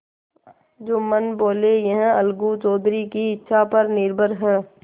जुम्मन बोलेयह अलगू चौधरी की इच्छा पर निर्भर है